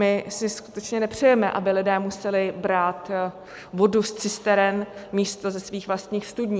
My si skutečně nepřejeme, aby lidé museli brát vodu z cisteren místo ze svých vlastních studní.